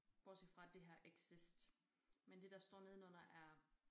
Bortset fra det her exist men det der ståre nedenunder er